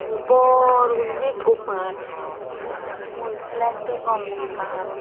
bor gorinay ekku mat ebenot mui flag degong ekkan.